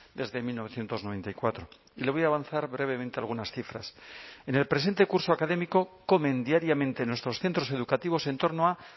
desde mil novecientos noventa y cuatro y le voy a avanzar brevemente algunas cifras en el presente curso académico comen diariamente en nuestros centros educativos en torno a